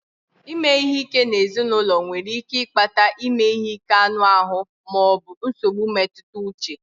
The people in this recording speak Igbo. Ime ihe ike n'ezinụlọ nwere ike ịkpata ime ihe ike anụ ahụ ma ọ bụ nsogbu mmetụta uche